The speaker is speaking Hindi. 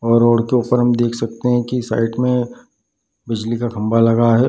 और रोड के ऊपर में देख सकते हैं की साइड में बिजली का खम्बा लगा है ।